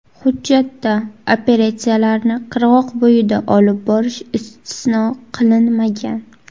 Hujjatda operatsiyalarni qirg‘oqbo‘yida olib borish istisno qilinmagan.